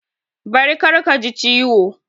Bari kar ka ji ciwo!